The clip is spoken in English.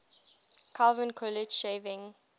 calvin coolidge shaving